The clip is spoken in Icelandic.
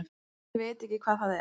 Ég veit ekki hvað það er.